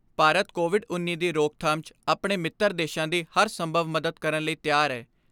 Bharat, Covid ਉੱਨੀ ਦੀ ਰੋਕਥਾਮ 'ਚ ਆਪਣੇ ਮਿੱਤਰ ਦੇਸ਼ਾਂ ਦੀ ਹਰ ਸੰਭਵ ਮਦਦ ਕਰਨ ਲਈ ਤਿਆਰ ਐ।